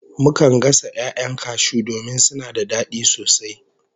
Mukan gasa 'ya'yan cashew domin suna da dadi sosai